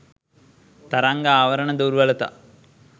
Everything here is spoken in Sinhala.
තරංග ආවරණ දුර්වලතා